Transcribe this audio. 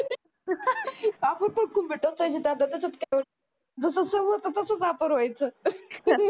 आपण पण खुंबे टोचायचे जस समोरचा तासंच आपण व्हयचं